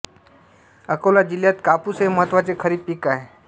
अकोला जिल्ह्यात कापूस हे महत्त्वाचे खरीप पीक आहे